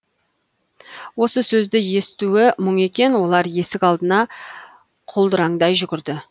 осы сөзді естуі мұң екен олар есік алдына құлдыраңдай жүгірді